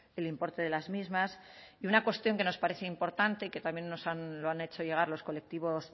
el importe de las mismas y una cuestión que nos parece importante y que también lo han hecho llegar los colectivos